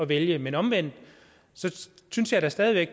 vælge men omvendt synes jeg da stadig væk